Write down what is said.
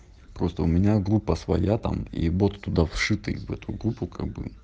просто у меня группа своя там и бот туда вшитый в эту группу как бы